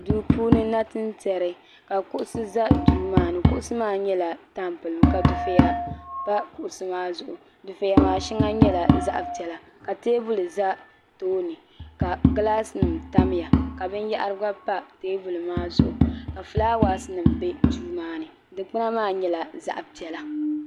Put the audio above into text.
duu puuni nachin tiɛri ka kuɣusi ʒɛ duu maa ni kuɣusi maa kama nyɛla tampilim ka dufɛya pa kuɣusi maa zuɣu dufɛya maa shɛŋa nyɛla zaɣ piɛla ka teebuli ʒɛ tooni ka gilaas nim tamya ka binyahari gba pa teebuli maa zuɣu ka fulaawaasi nim bɛ duu maa ni dikpuna maa nyɛla zaɣ piɛla